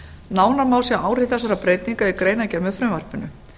nánar má sjá áhrif þessara breytinga í greinargerð með frumvarpinu